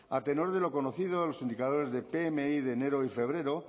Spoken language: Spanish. a tenor de lo conocido en los indicadores de pmi de enero y febrero